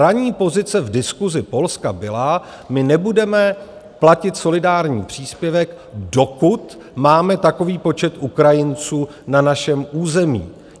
Ranní pozice v diskusi Polska byla, my nebudeme platit solidární příspěvek, dokud máme takový počet Ukrajinců na našem území.